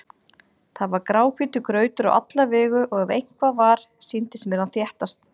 Það var gráhvítur grautur á alla vegu og ef eitthvað var, sýndist mér hann þéttast.